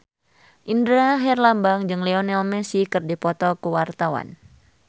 Indra Herlambang jeung Lionel Messi keur dipoto ku wartawan